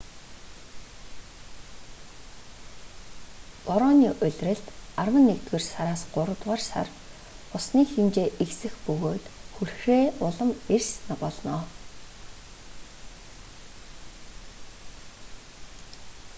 борооны улиралд арван нэгдүгээр сараас гуравдугаар сар усны хэмжээ ихсэх бөгөөд хүрхрээ улам эрс болно